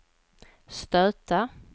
stöta